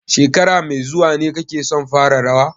Shekara mai zuwa ne kake son fara rawa?